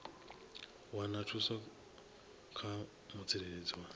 wana thuso kha mutsireledzi wa